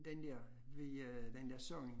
Den dér ved øh den der sang